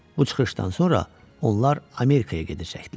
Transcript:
Bu çıxışdan sonra onlar Amerikaya gedəcəkdilər.